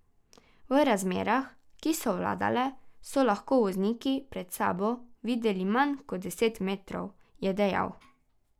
V razmerah, ki so vladale, so lahko vozniki pred sabo videli manj kot deset metrov, je dejal.